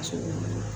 A ko mun na